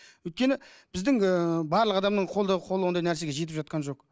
өйткені біздің ііі барлық адамның қолды қолы ондай нәрсеге жетіп жатқан жоқ